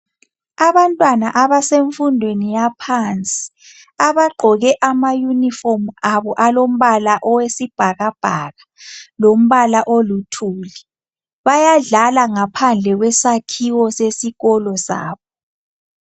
Abantwana abasefundweni yaphansi, abagqoke amayunifomu abo alombala owesibhakabhaka lombala oluthuli. Bayadlala ngaphandle kwesakhiwo sesikolo sabo.